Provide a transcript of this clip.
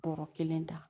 Bɔrɔ kelen ta